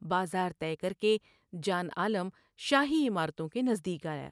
بازار طے کر کے جان عالم شاہی عمارتوں کے نزدیک آیا ۔